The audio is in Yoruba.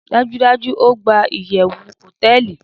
dajudaju, o gba iyewu hoteeli